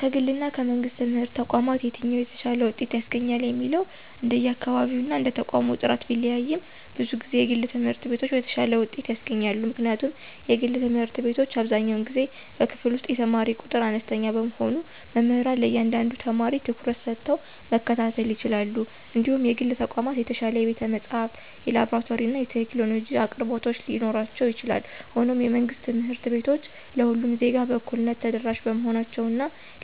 ከግልና ከመንግሥት ትምህርት ተቋማት የትኛው የተሻለ ውጤት ያስገኛል የሚለው እንደየአካባቢውና እንደየተቋሙ ጥራት ቢለያይም፣ ብዙ ጊዜ የግል ትምህርት ቤቶች የተሻለ ውጤት ያስገኛሉ። ምክንያቱም የግል ትምህርት ቤቶች አብዛኛውን ጊዜ በክፍል ውስጥ የተማሪ ቁጥር አነስተኛ በመሆኑ መምህራን ለእያንዳንዱ ተማሪ ትኩረት ሰጥተው መከታተል ይችላሉ እንዲሁም የግል ተቋማት የተሻለ የቤተ-መጻሕፍት፣ የላብራቶሪና የቴክኖሎጂ አቅርቦቶች ሊኖራቸው ይችላል። ሆኖም፣ የመንግሥት ትምህርት ቤቶች ለሁሉም ዜጋ በእኩልነት ተደራሽ በመሆናቸው እና